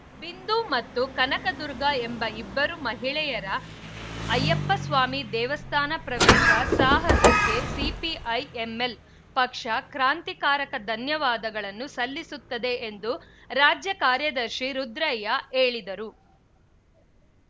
ಬಿಂದು ಮತ್ತು ಕನಕದುರ್ಗ ಎಂಬ ಇಬ್ಬರು ಮಹಿಳೆಯರ ಅಯ್ಯಪ್ಪಸ್ವಾಮಿ ದೇವಸ್ಥಾನ ಪ್ರವೇಶ ಸಾಹಸಕ್ಕೆ ಸಿಪಿಐಎಂಲ್‌ ಪಕ್ಷ ಕ್ರಾಂತಿಕಾರಕ ಧನ್ಯವಾದಗಳನ್ನು ಸಲ್ಲಿಸುತ್ತದೆ ಎಂದು ರಾಜ್ಯ ಕಾರ್ಯದರ್ಶಿ ರುದ್ರಯ್ಯ ಹೇಳಿದರು